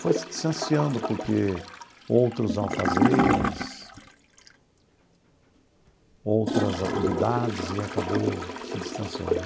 Foi se distanciando porque outros ao fazeres, outras atividades e acabou se distanciando.